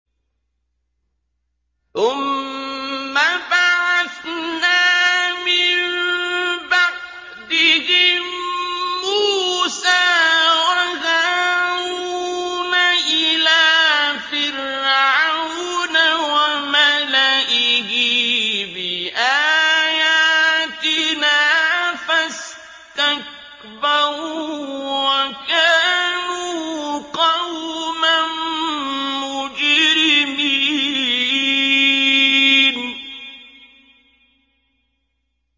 ثُمَّ بَعَثْنَا مِن بَعْدِهِم مُّوسَىٰ وَهَارُونَ إِلَىٰ فِرْعَوْنَ وَمَلَئِهِ بِآيَاتِنَا فَاسْتَكْبَرُوا وَكَانُوا قَوْمًا مُّجْرِمِينَ